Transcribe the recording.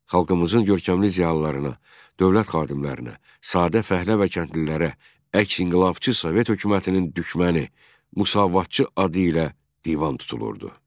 Xalqımızın görkəmli ziyalılarına, dövlət xadimlərinə, sadə fəhlə və kəndlilərə əksinqilabçı Sovet hökumətinin düşməni, müsavatçı adı ilə divan tutulurdu.